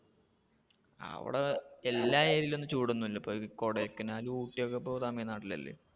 അവിടെ എല്ലാ area യിലൊന്നും ചൂട് ഒന്നും ഇല്ല. ഇപ്പൊ കൊടൈക്കനാൽ, ഊട്ടി ഒക്കെ ഇപ്പൊ തമിഴ് നാട്ടിൽ അല്ലെ.